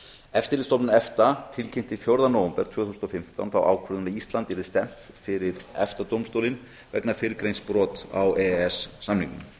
eftirlitsstofnun efta tilkynnti fjórða nóvember tvö þúsund og fimmtán þá ákvörðun að íslandi yrði stefnt fyrir efta dómstólinn vegna fyrrgreinds brots á e e s samningnum